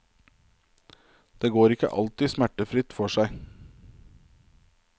Det går ikke alltid smertefritt for seg.